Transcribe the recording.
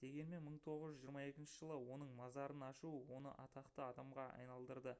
дегенмен 1922 жылы оның мазарын ашу оны атақты адамға айналдырды